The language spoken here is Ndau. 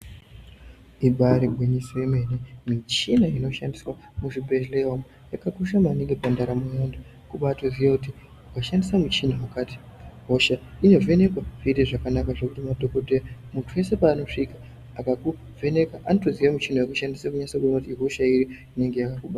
Ibari gwinyiso yemene michina inoshandiswa muzvibhedhlera umo yakakosha maningi pandaramo yevantu kubatoziya kuti washandisa muchina wakati hosha inovhenekwa zvoita zvakanaka zvekuti madhokodheya muntu weshe paunosvika akakuvheneka anotiziya muchina wekushandisa kunyase kuona kuti ihosha iri inenge yakakubata.